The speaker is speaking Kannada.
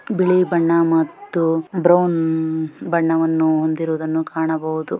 ಬಿಳಿ ಬಣ್ಣ ಮತ್ತು ಬ್ರೌನ್ ಬಣ್ಣವನ್ನು ಹೊಂದಿರುವುದನ್ನು ಕಾಣಬಹುದು.